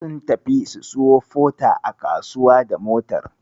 Sun tafi su siyo Porter a kasuwa da motar.